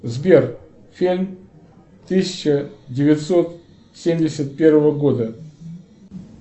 сбер фильм тысяча девятьсот семьдесят первого года